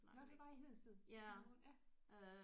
Nåh det var i Hedensted i den her måned ja